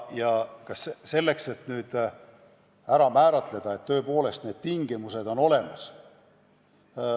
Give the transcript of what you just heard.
Ja nüüd tuleb määratleda, et kas tõepoolest need tingimused on olemas.